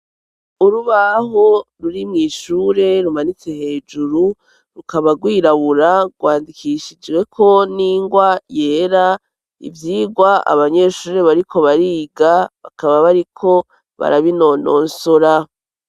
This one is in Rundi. Urubaho ruri mw'ishure, rumanitse hejuru rukaba rwirabura, rwandikishijweko n'ingwa yera, ivyigwa abanyeshure bariko bariga, bakaba bariko barabinononsora.